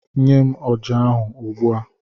Nye m ọjà ahụ, ugbu a!